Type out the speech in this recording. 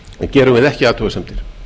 gerum við ekki athugasemdir